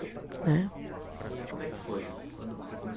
Né. E como é que foi quando você